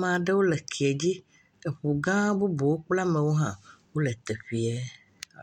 maɖwpo le eke dzi eŋu gã bubu kple amewo hã wole teƒee.